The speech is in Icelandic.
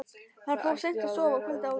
Hann fór seint að sofa kvöldið áður.